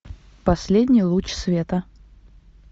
последний луч света